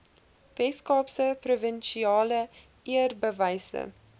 weskaapse provinsiale eerbewyse